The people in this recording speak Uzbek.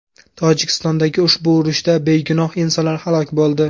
Tojikistondagi ushbu urushda begunoh insonlar halok bo‘ldi.